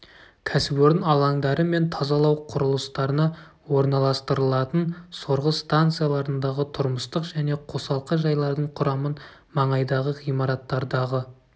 кәсіпорын алаңдары мен тазалау құрылыстарына орналастырылатын сорғы станцияларындағы тұрмыстық және қосалқы жайлардың құрамын маңайдағы ғимараттардағы